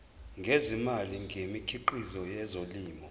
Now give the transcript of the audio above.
ngezimali ngemikhiqizo yezolimo